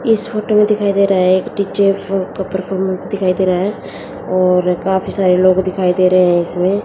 इस फोटो में दिखाई दे रहा है एक डी_जे का परफॉर्मेंस दिखाई दे रहा है और काफी सारे लोग दिखाई दे रहे हैं इसमें--